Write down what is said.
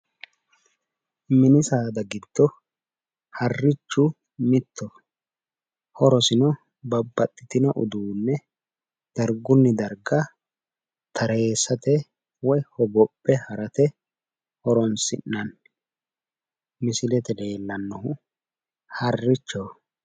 Mini saada giddo harrichu mittoho horosino babbaxitino uduunne darguni darga tareessate woyi hogophe harate horonisinanni misilete leelanohu harichoho.